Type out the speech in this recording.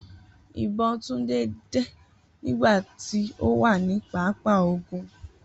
Ibon Tunde de nigba ti o wa ni papa ogun